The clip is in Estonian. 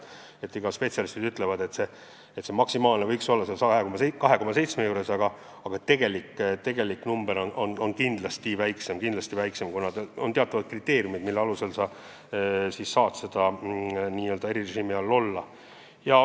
Spetsialistid ütlevad, et see maksimaalne kaotus võiks olla 2,7 miljonit, aga tegelik number on kindlasti väiksem, kuna kehtivad teatavad kriteeriumid, mille puhul sa saad n-ö erirežiimi kasutada.